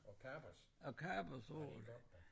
Og kapers ja det er godt da